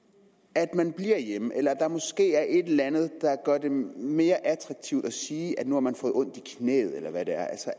at man bliver hjemme eller at der måske er et eller andet der gør det mere attraktivt at sige at nu har man fået ondt i knæet eller hvad det er